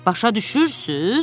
Başa düşürsüz?